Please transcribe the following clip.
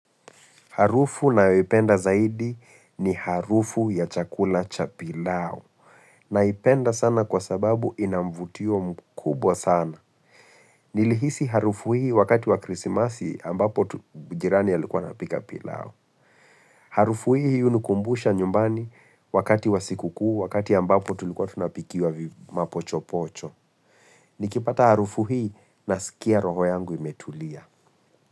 Harufu ninayopenda zaidi ni harufu ya chakula cha pilau. Naipenda sana kwa sababu inamvutio mkubwa sana. Nilihisi harufu hii wakati wa krisimasi ambapo jirani ya alikuwa anapika pilau. Harufu hii hunikumbusha nyumbani wakati wa siku kuu wakati ambapo tulikuwa tunapikiwa vimapocho pocho. Nikipata harufu hii na sikia roho yangu imetulia.